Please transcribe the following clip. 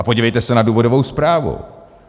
A podívejte se na důvodovou zprávu.